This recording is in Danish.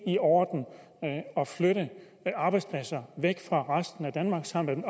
i orden at flytte arbejdspladser væk fra resten af danmark samle dem